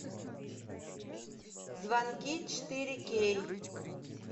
звонки четыре кей